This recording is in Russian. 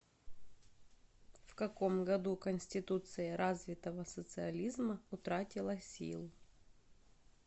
в каком году конституция развитого социализма утратила силу